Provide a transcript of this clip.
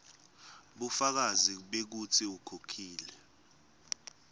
bufakazi bekutsi ukhokhile